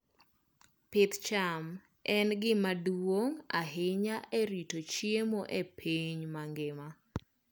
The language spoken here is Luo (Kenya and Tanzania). Pith cham en gima duong' ahinya e rito chiemo e piny mangima.